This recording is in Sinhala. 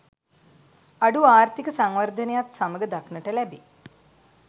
අඩු ආර්ථීක සංවර්ධනයත් සමඟ දක්නට ලැබේ.